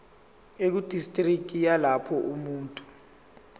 ekudistriki yalapho umuntu